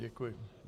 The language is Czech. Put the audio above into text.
Děkuji.